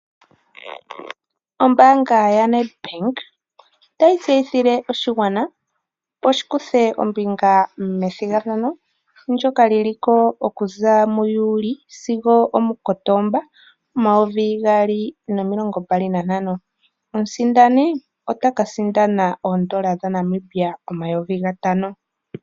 Ombaanga yoNedbank otayi tseyithile oshigwana opo shikuthe ombinga medhigathano ndjoka liliko okuza muJuli sigo omuKotomba omayovi gaali nomilongo mbali nantano 2025,omusindani otaka sindna oodola dhaNimbia omayovi gatano.